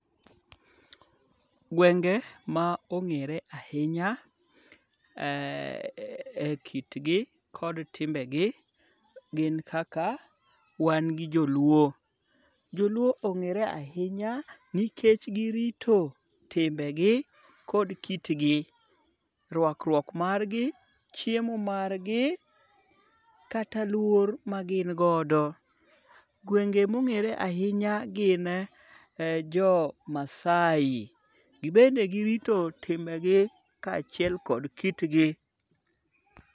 Gwenge ma ong'ere ahinya e kitgi kod timbegi gin kaka, wan gi joluo. Joluo ong'ere ahinya nikech girito timbegi kod kitgi, rwakruok margi, chiemo margi kata luor magin godo. Gwenge mong'ere ahinya gin Jomaasai. Gibende girito timbegi kaachiel kod kitgi.